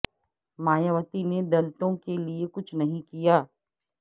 مایاوتی نے د لتوں کیلئے کچھ نہیں کیا